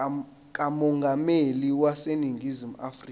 kamongameli waseningizimu afrika